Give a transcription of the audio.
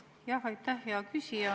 Aitäh, hea küsija!